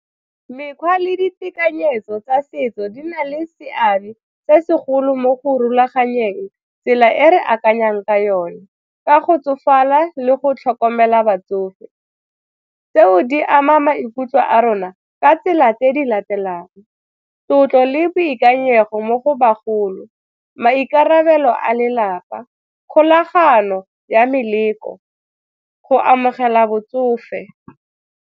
Mekgwa le ditekanyetso tsa setso di na le seabe se segolo mo go rulaganyetsang tsela e re akanyang ka yone ka go tsofala le go tlhokomela batsofe. Tseo di ama maikutlo a rona ka tsela tse di latelang, tlotlo le boikanyego mo go bagolo, maikarabelo a lelapa, kgolagano ya meletlo, go amogela botsofe.